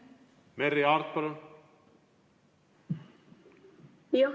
Merry Aart, palun!